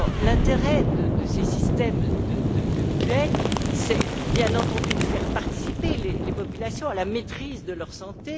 L'intérêt de ces systèmes de mutuelles, c'est bien entendu de faire participer les populations à la maîtrise de leur santé.